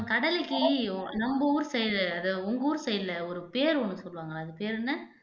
கடலைக்கு நம்ம ஊரு side அது உங்க ஊர் side ல ஒரு பேரு ஒண்ணு சொல்லுவாங்கல்ல அது பேரு என்ன